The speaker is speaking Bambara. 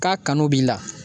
K'a kanu b'i la